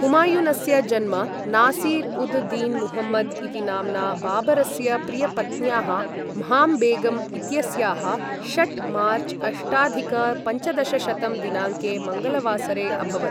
हुमायूनस्य जन्म नासिर् उद् दीन् मुहम्मद् इति नाम्ना बाबरस्य प्रियपत्न्याः म्हाम् बेगम् इत्यस्याः, षट् मार्च् अष्टाधिक पञ्चदशशतं दिनाङ्के मङ्गलवासरे अभवत्।